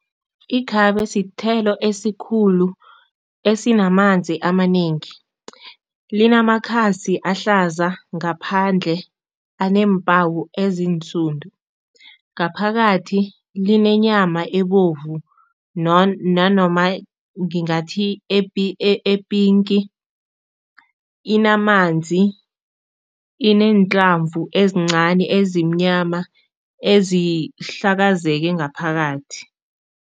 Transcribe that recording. Ikhabe sithelo esikhulu esinamanzi amanengi. Linamakhasi ahlaza ngaphandle aneempawu ezinsundu, ngaphakathi linenyama ebovu nanoma ngingathi epinki, inamanzi, ineenhlamvu ezincani, ezimnyama, ezihlakazeke ngaphakathi.